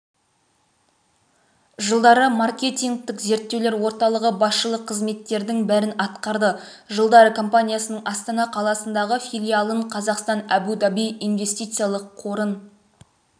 жылдары маркетингтік зерттеулер орталығы басшылық қызметтердің бірін атқарды жылдары компаниясының астана қаласындағы филиалын қазақстан-әбу-даби инвестициялық қорын